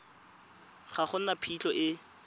ga go na phitlho e